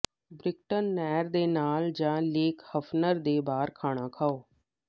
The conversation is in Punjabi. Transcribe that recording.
ਬ੍ਰਿਕਟਨ ਨਹਿਰ ਦੇ ਨਾਲ ਜਾਂ ਲੇਕ ਹੈਫਨਰ ਤੇ ਬਾਹਰ ਖਾਣਾ ਖਾਓ